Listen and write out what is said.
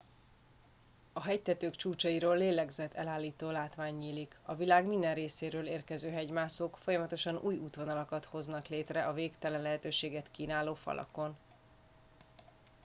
a hegytetők csúcsairól lélegzetellállító látvány nyílik a világ minden részéről érkező hegymászók folyamatosan új útvonalakat hoznak létre a végtelen lehetőséget kínáló falakon